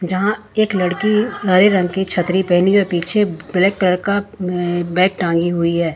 जहां एक लड़की हरे रंग की छतरी पहनी है पीछे ब्लैक कलर का बैग टांगी है।